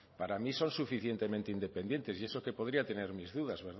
para mí son suficientemente independientes y eso que podría tener mis duda